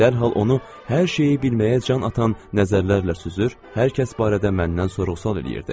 Dərhal onu hər şeyi bilməyə can atan nəzərlərlə süzür, hər kəs barədə məndən sorğu-sual eləyirdi.